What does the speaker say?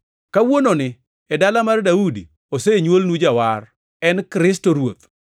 Kawuononi e dala mar Daudi, osenywolnu Jawar; en Kristo Ruoth.